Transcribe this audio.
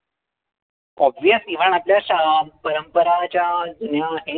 obvious even आपल्या श परंपरा ज्या जुन्या आहे.